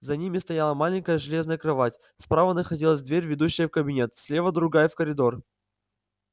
за ними стояла маленькая железная кровать справа находилась дверь ведущая в кабинет слева другая в коридор